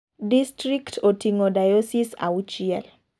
Distrikt oting'o diosis auchiel.